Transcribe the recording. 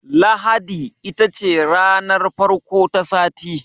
Lahadi ita ce ranar farko ta sati.